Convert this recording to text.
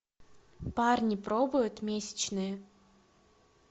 парни пробуют месячные